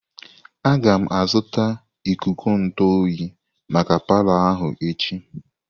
Aga m azụta ikuku ntụ oyi maka palo ahụ echi.